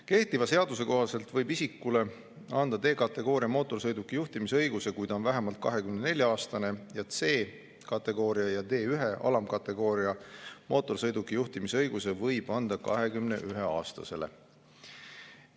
Kehtiva seaduse kohaselt võib isikule anda D-kategooria mootorsõiduki juhtimise õiguse, kui ta on vähemalt 24‑aastane, ja C-kategooria ja D1-alamkategooria mootorsõiduki juhtimise õiguse võib anda 21‑aastasele.